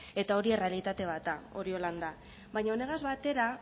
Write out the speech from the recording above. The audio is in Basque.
eta hori errealitate bat da hori holan da baina honegaz batera